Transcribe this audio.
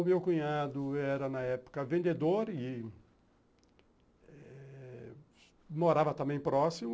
O meu cunhado era, na época, vendedor e morava também próximo.